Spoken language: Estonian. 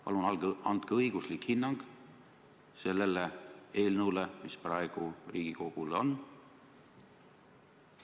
Palun andke õiguslik hinnang sellele eelnõule, mis praegu Riigikogule on!